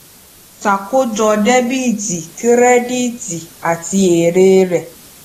ṣàkójọ dẹbìtì kírẹdíìtì àti èrè rẹ